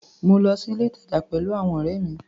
Mo lọ sí ilé-ìtàjà pẹ̀lú àwọn ọ̀rẹ́ mi.